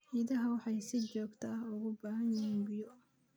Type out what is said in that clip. Idaha waxay si joogto ah ugu baahan yihiin biyo.